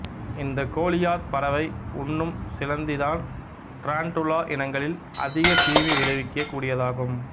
இந்த கோலியாத் பறவை உண்ணும் சிலந்திதான் ட்ராண்ட்டுலா இனங்களில் அதிக தீமை விளைவிக்க கூடியதாகும்